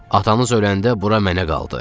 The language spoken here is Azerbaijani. Atamız öləndə bura mənə qaldı.